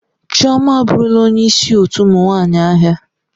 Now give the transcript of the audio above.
Chioma aburula onye isi otu ụmụ nwanyi ahia.